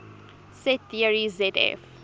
set theory zf